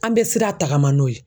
An be sira tagama n'o ye.